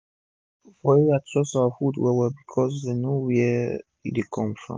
pipu for our area trust our food well well becos dem know were e dey come from